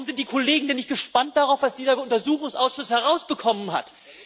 Warum sind die Kollegen denn nicht gespannt darauf, was dieser Untersuchungsausschuss herausbekommen hat?